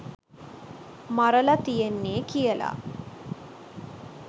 මරලා තියෙන්නේ කියලා.